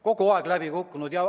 Kogu aeg on see läbi kukkunud.